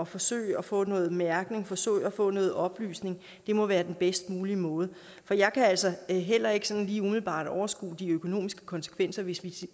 forsøge at få noget mærkning forsøge at få noget oplysning må være den bedst mulige måde for jeg kan altså heller ikke sådan lige umiddelbart overskue de økonomiske konsekvenser hvis vi